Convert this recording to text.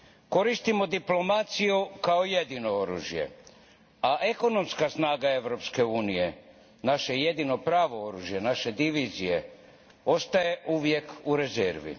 Koristimo diplomaciju kao jedino oružje, a ekonomska snaga Europske unije naše jedino pravo oružje naše divizije ostaje uvijek u rezervi.